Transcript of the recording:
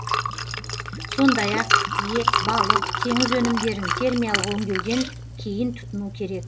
сондай ақ ет балық теңіз өнімдерін термиялық өңдеуден кейін тұтыну керек